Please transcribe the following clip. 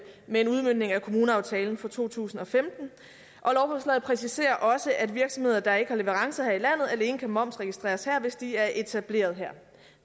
med en udmøntning af kommuneaftalen for to tusind og femten og lovforslaget præciserer også at virksomheder der ikke har leverancer her i landet alene kan momsregistreres her hvis de er etableret her